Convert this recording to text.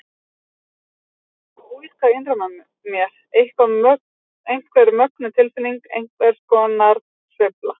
Það fór eitthvað að ólga innra með mér, einhver mögnuð tilfinning, einhvers konar sveifla.